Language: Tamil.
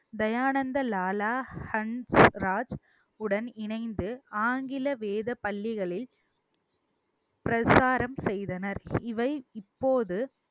தயானந்த லாலா ஹன்ஸ் ராஜ் உடன் இணைந்து ஆங்கில வேதப் பள்ளிகளில் பிரச்சாரம் செய்தனர் இவை இப்போது